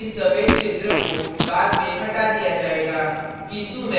bottom में इस सफ़ेद क्षेत्र को बाद में हटा दिया जाएगा